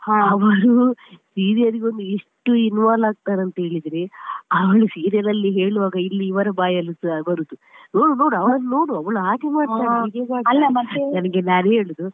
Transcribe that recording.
ಅವರು serial ಗೆ ಒಂದು ಎಷ್ಟು involve ಆಗ್ತಾರೆ ಅಂತ ಹೇಳಿದ್ರೆ ಅವ್ರು serial ಅಲ್ಲಿ ಹೇಳುವಾಗ ಇಲ್ಲಿ ಇವರ ಬಾಯಲ್ಲಿಸ ಬರುದು ನೋಡು ನೋಡು ಅವಳನ್ನು ನೋಡು ಅವಳು ಹಾಗೆ ಮಾಡ್ತಾಳೆ ಹೀಗೆ ಮಾಡ್ತಾಳೆ ಅದಕ್ಕೆ ನಾನು ಹೇಳೋದು.